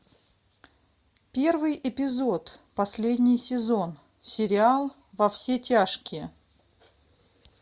первый эпизод последний сезон сериал во все тяжкие